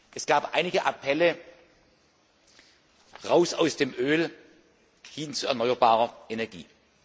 Es gab einige Appelle Raus aus dem Öl hin zu erneuerbarer Energie!.